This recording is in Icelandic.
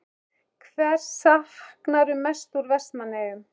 Hvers saknarðu mest úr Vestmannaeyjum?